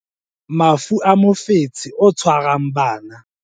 Mafu a mofetshe o tshwarang bana